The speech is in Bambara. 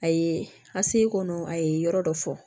A ye a se kɔnɔ a ye yɔrɔ dɔ fɔ